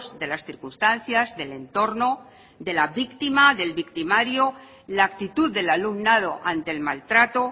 de las circunstancias del entorno de la víctima del victimario la actitud del alumnado ante el maltrato